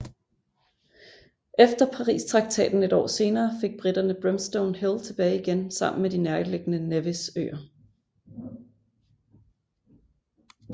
Efter Paristraktaten et år senere fik briterne Brimstone Hill tilbage igen saammen med de nærliggende Nevis Øer